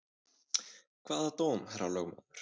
Hvaða dóm, herra lögmaður?